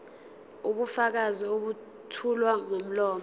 ubufakazi obethulwa ngomlomo